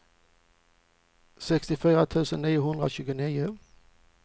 sextiofyra tusen niohundratjugonio